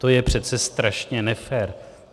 To je přece strašně nefér!